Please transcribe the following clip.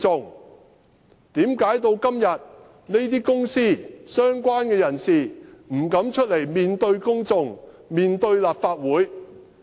為甚麼到了今天，這些公司、相關人士仍不敢出來面對公眾、面對立法會？